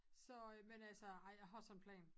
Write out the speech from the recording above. Så øh men altså ej jeg har sådan en plan